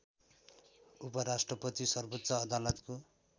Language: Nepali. उपराष्ट्रपति सर्वोच्च अदालतको